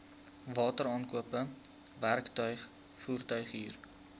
wateraankope werktuig voertuighuur